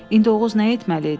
İndi Oğuz nə etməli idi?